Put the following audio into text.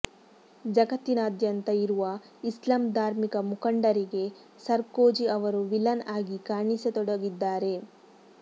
ಜಗತ್ತಿನಾದ್ಯಂತ ಇರುವ ಇಸ್ಲಾಂ ಧಾರ್ಮಿಕ ಮುಖಂಡರಿಗೆ ಸರ್ಕೋಜಿ ಅವರು ವಿಲನ್ ಆಗಿ ಕಾಣಿಸಿತೊಡಗಿದ್ದಾರೆ